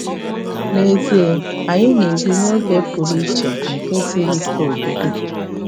N’ezie, anyị na-ebi ‘n’oge pụrụ iche nke siri ike obibi.